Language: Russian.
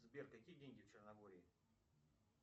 сбер какие деньги в черногории